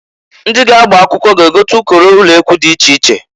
Ndị ga-agba akwụkwọ ga-egote ụkọrọ ulekwu di iche iche.